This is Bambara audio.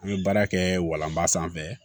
An bɛ baara kɛ walanba sanfɛ